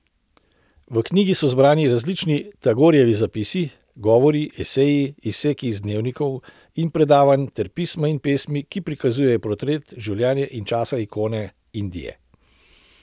V knjigi so zbrani različni Tagorejevi zapisi, govori, eseji, izseki iz dnevnikov in predavanj ter pisma in pesmi, ki prikazujejo portret življenja in časa ikone Indije.